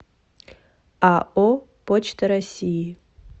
ао почта россии